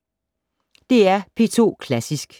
DR P2 Klassisk